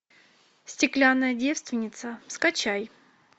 стеклянная девственница скачай